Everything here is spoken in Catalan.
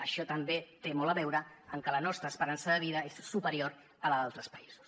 això també té molt a veure amb què la nostra esperança de vida és superior a la d’altres països